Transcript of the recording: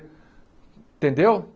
Entendeu?